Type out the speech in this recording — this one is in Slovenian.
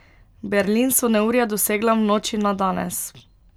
Berlin so neurja dosegla v noči na danes.